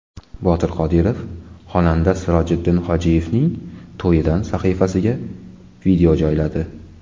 Botir Qodirov xonanda Sirojiddin Hojiyevning to‘yidan sahifasiga video joyladi.